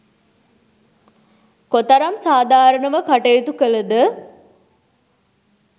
කොතරම් සාධාරණව කටයුතු කලද